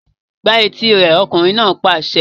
Gbá etí rẹ̀! Ọkùnrin náà pàṣẹ.